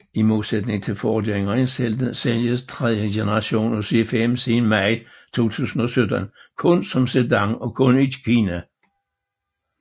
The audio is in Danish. I modsætning til forgængeren sælges tredje generation af C5 siden maj 2017 kun som sedan og kun i Kina